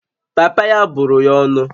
Papa ya bụrụ ya ọnụ